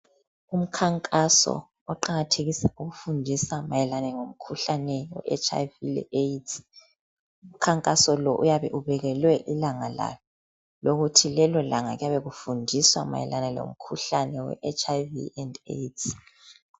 Umkhankaso oqakathekisa ukufundisa mayelane ngomkhuhlane we HIV le AIDS umkhankaso lo uyabe ubekelwe ilanga lawo lokuthi lelo langa kuyabe kufundiswa mayelane lomkhuhlane we HIV and AIDS.